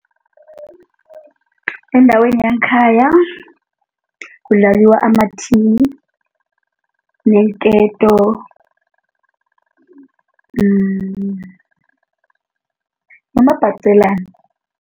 Endaweni yangekhaya kudlaliwa amathini, neenketo nomabhaqelani.